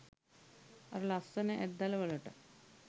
අර ලස්සන ඇත් දළවලටත්